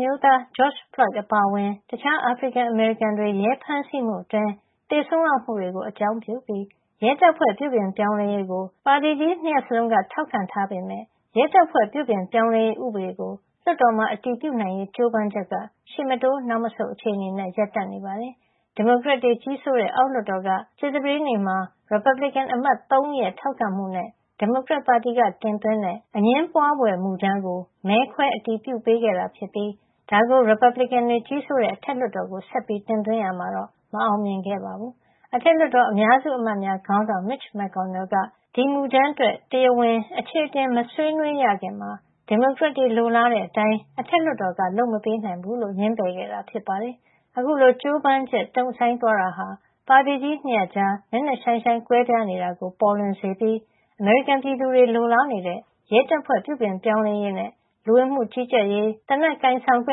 မျိုးသား Geroge Floyde အပါအဝင် တခြား အာဖရိကန်-အမေရိကန်တွေ ရဲဖမ်းဆီးမှုအတွင်း သေဆုံးရမှုတွေကို အကြောင်းပြုပြီး ရဲတပ်ဖွဲ့ ပြုပြင်ပြောင်းလဲရေးကို ပါတီကြီး ၂ ရပ်လုံးက ထောက်ခံထားပေမယ့် ရဲတပ်ဖွဲ့ ပြုပြင်ပြောင်းလဲရေး ဥပဒေကို လွှတ်တော်မှာ အတည်ပြုနိုင်ရေး ကြိုးပမ်းချက်က ရှေ့မတိုး နောက်မဆုတ်သာ အခြေအနေနဲ့ ရပ်တန့်နေပါတယ်။ ဒီမိုကရက်တွေ ကြီးစိုးတဲ့ အောက်လွှတ်တော်က ကြာသပတေးနေ့မှာ ရီပတ်ဘလစ်ကန်အမတ် ၃ ဦးရဲ့ ထောက်ခံမှုနဲ့ ဒီမိုကရက်ပါတီက တင်သွင်းတဲ့ အငြင်းပွားဖွယ်မူကြမ်းကို မဲခွဲအတည်ပြုပေးခဲ့တာဖြစ်ပြီး ဒါကို ရီပတ်ဘလစ်ကန်တွေ ကြီးစိုးတဲ့ အထက်လွှတ်တော်ကို ဆက်ပြီး တင်သွင်းရာမှာတော့ မအောင်မြင်ခဲ့ပါဘူး။ အထက်လွှတ်တော် အများစု အမတ်များခေါင်းဆောင် Mitch McConnell က ဒီမူကြမ်းအတွက် တရားဝင် အချေအတင် မဆွေးနွေးရခင်မှာ ဒီမိုကရက်တွေ လိုလားတဲ့အတိုင်း အထက်လွှတ်တော်က လုပ်မပေးနိုင်ဘူးလို့ ငြင်းပယ်ခဲ့တာ ဖြစ်ပါတယ်။ အခုလို ကြိုးပမ်းချက် တုံ့ဆိုင်းသွားတာဟာဆိုရင် ပါတီကြီး ၂ ရပ်ကြား နက်နက်ရှိုင်းရှိုင်း ကွဲပြားနေတာကို ပေါ်လွင်စေပြီး အမေရိကန်ပြည်သူတွေ လိုလားနေတဲ့ ရဲတပ်ဖွဲ့ ပြုပြင်ပြောင်းလဲရေးနဲ့ လူဝင်မှုကြီးကြပ်ရေး၊ သေနတ်ကိုင်ဆောင်ခွ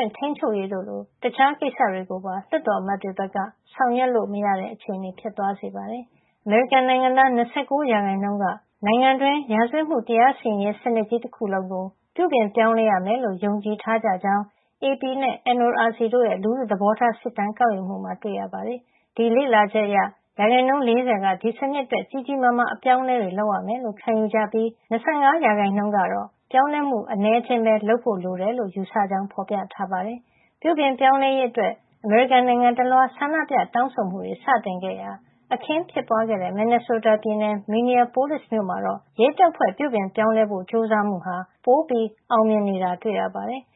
င့် ထိန်းချုပ်ရေးတို့လို တခြားကိစ္စတွေကိုပါ လွှတ်တော်အမတ်တွေဘက်က ဆောင်ရွက်လု့ိမရတဲ့ အခြေအနေ ဖြစ်သွားစေပါတယ်။ အမေရိကန်နိုင်ငံသား ၂၉ ရာခိုင်နှုန်းက နိုင်ငံတွင်း ရာဇဝတ်မှု တရားစီရင်ရေး စနစ်ကြီးတခုလုံးကို ပြုပြင်ပြောင်းလဲရမယ်လို့ ယုံကြည်ထားကြကြောင်း AP နဲ့ NORC တို့ရဲ့ လူထုသဘောထားစစ်တမ်း ကောက်ယူမှုမှာ တွေ့ရှိထားပါတယ်။ ဒီလေ့လာချက်အရ ရာခိုင်နှုန်း ၄၀ က ဒီစနစ်အတွက် ကြီးကြီးမားမား အပြောင်းအလဲတွေ လုပ်ရမယ်လို့ ခံယူကြပြီး ၂၅ ရာခိုင်နှုန်းကတော့ ပြောင်းလဲမှု အနည်းအကျဉ်း လုပ်ဖို့လိုတယ်လို့ ယူဆကြောင်းလည်း ဖော်ပြထားပါတယ်။ ပြုပြင်ပြောင်းလဲရေးအတွက် အမေရိကန်နိုင်ငံတလွှား ဆန္ဒပြတောင်းဆိုမှုတွေ စတင်ခဲ့ရာ အခင်းဖြစ်ပွားခဲ့တဲ့ မင်နီဆိုးတားပြည်နယ် Minneapolis မြို့မှာတော့ ရဲတပ်ဖွဲ့ ပြုပြင်ပြောင်းလဲဖို့ ကြိုးစားမှုဟာ ပိုပြီးအောင်မြင်နေတာ တွေ့ရပါတယ်။